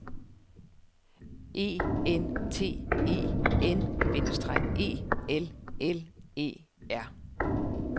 E N T E N - E L L E R